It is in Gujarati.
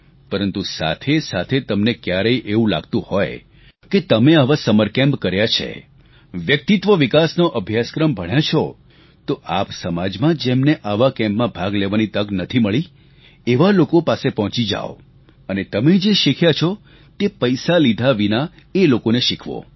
પરંતુ સાથે સાથે તમને ક્યારેય એવું લાગતું હોય કે તમે આવા સમર કેમ્પ કર્યા છે વ્યક્તિત્વ વિકાસનો અભ્યાસક્રમ ભણ્યા છો તો આપ સમાજમાં જેમને આવા કેમ્પમાં ભાગ લેવાની તક નથી મળી એવા લોકો પાસે પહોંચી જાવ અને તમે જે શીખ્યા છો તે પૈસા લીધા વિના એ લોકોને શીખવો